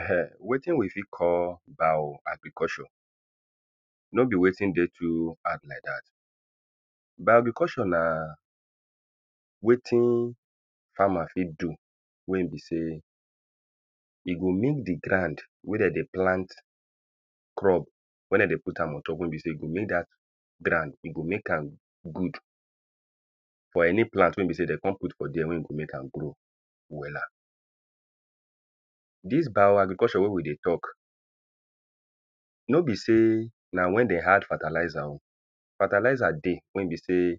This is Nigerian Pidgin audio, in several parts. um wetin we fir call bio-agriculture? No be wetin dey too hard like dat. Bio-agriculture na wetin farmer fit do wey e be sey e go make the ground wey de dey plant crop. Wey de dey put am on top wey be sey e go make dat ground, e go make am good for any plant wey be sey de con put for dere. Wey go make am grow wella. Dis bio-agriculture wey we dey talk no be sey na when dem add fertalizer oh. Fertalizer dey wey be sey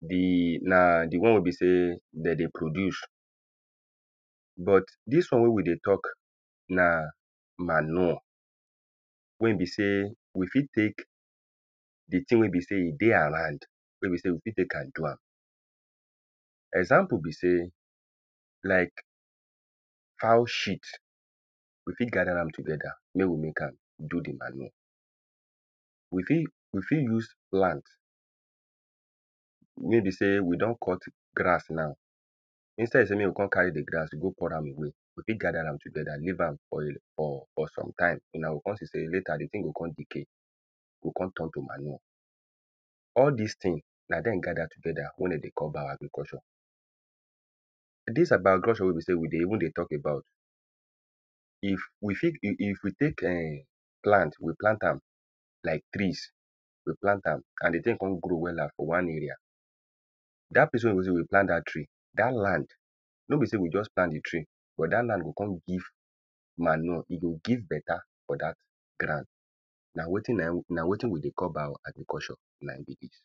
The na the one wey be sey de dey produce but dis one wey we dey talk, na manure. Wey e be sey, we fit take the thing wey e be sey e dey around. Wey be sey we fit take am do am. Example be sey like fowl shit we fit gather am together. Mey we make am do the manure. We fit, we fit use plant wey be sey we don cut grass now instead sey make we con carry the grass go pour am away we fit gather am together. leave am for a for for some time. Huna go con see sey later the thing go con decay, go con turn to manure. All dis thing na dem gather together wey de dey call bio-agriculture. Dis bio-agriculture wey be sey we dey even dey talk about, if we fit e e we take plant um plant we plant am. Like trees, we plant am and the thing con grow wella for one area. Dat place wey be sey we plant dat tree, dat land no be sey we just plant the tree but dat land go con give manure e go give better for dat ground. Na wetin na na wetin we dey call bioagriculture na im be dis.